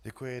Děkuji.